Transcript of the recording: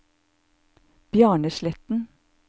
Bjarne Sletten